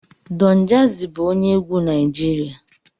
Don jazzy bụ onye egwu Naijiria